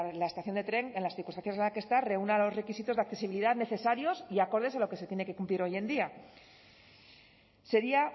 la estación de tren en las circunstancias en las que está reúna los requisitos de accesibilidad necesarios y acordes a lo que se tiene que cumplir hoy en día sería